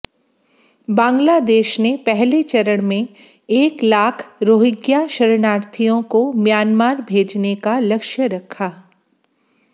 बांग्लादेश ने पहले चरण में एक लाख रोहिंग्या शरणार्थियों को म्यांमार भेजने का लक्ष्य रखा